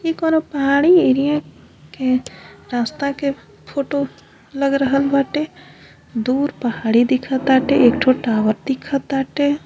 ई कउनो पहाड़ी एरिया के रास्ता के फोटो लग रहल बाटे। दूर पहाड़ी दिख ताटे। एक ठो टावर दिख ताटे।